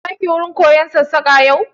Za ki wurin koyon Sassaƙa yau?